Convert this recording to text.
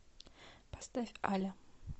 поставь аля